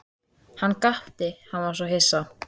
Hann gapti, hann var svo hissa.